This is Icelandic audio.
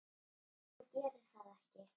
En hann gerir það ekki.